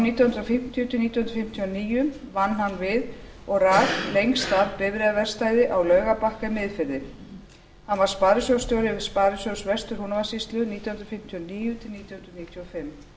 nítján hundruð fimmtíu til nítján hundruð fimmtíu og níu vann hann við og rak lengst af bifreiðaverkstæði á laugarbakka í miðfirði hann var sparisjóðsstjóri sparisjóðs vestur húnavatnssýslu nítján hundruð fimmtíu og níu til nítján hundruð níutíu og fimm